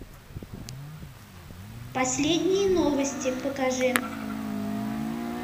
последние новости покажи